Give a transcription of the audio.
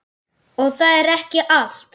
Og það er ekki allt.